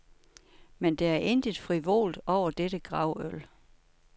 Men der er intet frivolt over dette gravøl.